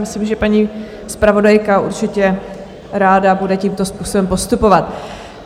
Myslím, že paní zpravodajka určitě bude ráda tímto způsobem postupovat.